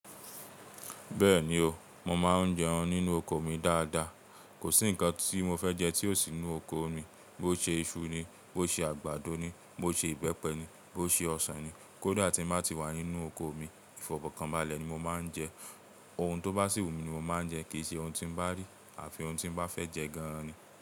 Bẹ́ẹ̀ni o, mo máa ń jẹun nínú oko mi dáadáa. Kò sí ǹkan tí mo fẹ́ jẹ tí ò sí inú oko mi. Bo ṣe iṣu ni, bo ṣe àgbàdo ni, bo ṣe ìbẹ́pẹ ni, bo ṣe ọsàn ni. Kódà tí ń bá ti wà nínú oko mi, ìfọ̀kànbalẹ̀ ni mo máa ń jẹ. Ohun tó bá sìwù mi ni mo máa jẹ, kì í ṣe ohun tí ń bá rí àfi ohun tí ń bá fẹ́ jẹ gan ni.